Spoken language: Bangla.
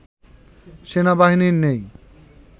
সেনাবাহিনীর নেই